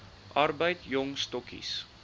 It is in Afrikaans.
arbeid jong stokkies